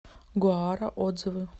гоара отзывы